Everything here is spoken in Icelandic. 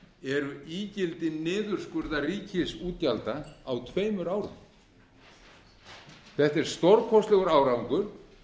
eru ígildi niðurskurðar ríkisútgjalda á tveimur árum þetta er stórkostlegur árangur